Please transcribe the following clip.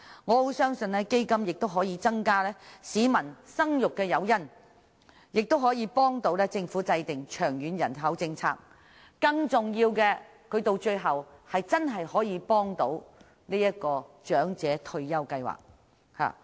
我亦相信基金可以成為市民生育的誘因，有助政府制訂長遠人口政策，而更重要的是真正可以幫助長者退休計劃。